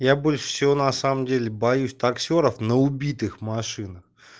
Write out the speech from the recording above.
я больше всего на самом деле боюсь таксёров на убитых машинах